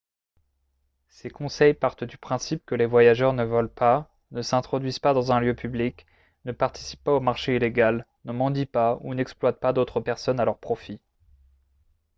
ces conseils partent du principe que les voyageurs ne volent pas ne s'introduisent pas dans un lieu public ne participent pas au marché illégal ne mendient pas ou n'exploitent pas d'autres personnes à leur profit